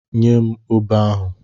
Nye m obe ahụ!